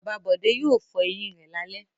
Bàbá Bọ̀dé yóò fọ eyín rẹ̀ lálẹ́.